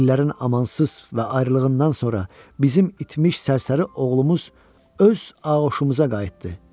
İllərin amansız və ayrılığından sonra bizim itmiş sərsəri oğlumuz öz ağuşumuza qayıtdı.